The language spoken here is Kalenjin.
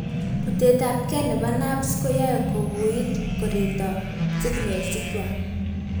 butet ab gei nebo nerves koyoe kowuuit koreto signals ikwak